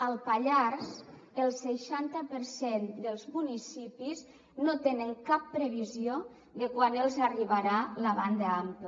al pallars el seixanta per cent dels municipis no tenen cap previsió de quan els arribarà la banda ampla